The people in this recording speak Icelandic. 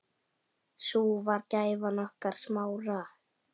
Sú var gæfan okkar Smára.